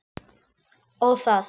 Ó, það!